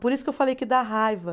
Por isso que eu falei que dá raiva.